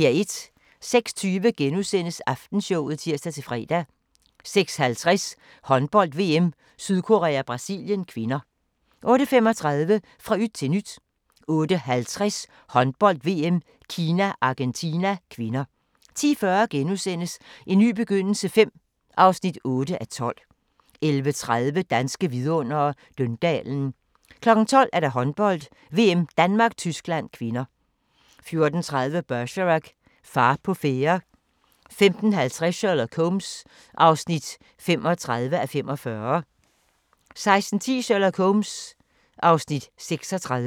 06:20: Aftenshowet *(tir-fre) 06:50: Håndbold: VM - Sydkorea-Brasilien (k) 08:35: Fra yt til nyt 08:50: Håndbold: VM - Kina-Argentina (k) 10:40: En ny begyndelse V (8:12)* 11:30: Danske Vidundere: Døndalen 12:00: Håndbold: VM - Danmark-Tyskland (k) 14:30: Bergerac: Far på færde 15:20: Sherlock Holmes (35:45) 16:10: Sherlock Holmes (Afs. 36)